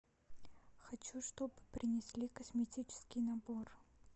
хочу чтоб принесли косметический набор